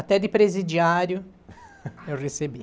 Até de presidiário eu recebi.